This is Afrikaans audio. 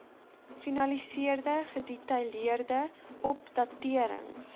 finaliseer gedetailleerde opdaterings